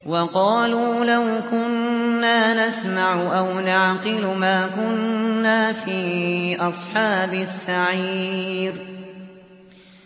وَقَالُوا لَوْ كُنَّا نَسْمَعُ أَوْ نَعْقِلُ مَا كُنَّا فِي أَصْحَابِ السَّعِيرِ